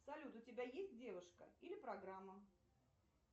салют у тебя есть девушка или программа